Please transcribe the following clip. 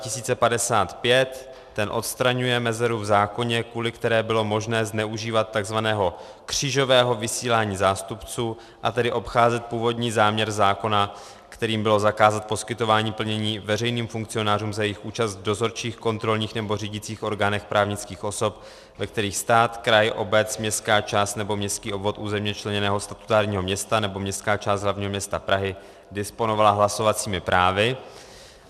Ten odstraňuje mezeru v zákoně, kvůli které bylo možné zneužívat tzv. křížového vysílání zástupců, a tedy obcházet původní záměr zákona, kterým bylo zakázat poskytování plnění veřejným funkcionářům za jejich účast v dozorčích, kontrolních nebo řídících orgánech právnických osob, ve kterých stát, kraj, obec, městská část nebo městský obvod územně členěného statutárního města nebo městská část hlavního města Prahy disponovaly hlasovacími právy.